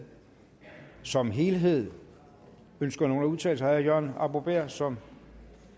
som helhed ønsker nogen at udtale sig herre jørgen arbo bæhr som